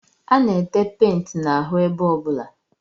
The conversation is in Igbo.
A na-ete penti n'ahụ ebe ọbụla